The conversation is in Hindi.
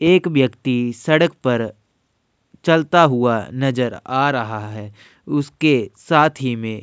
एक व्यक्ति सड़क पर चलता हुआ नजर आ रहा है उसके साथ ही में --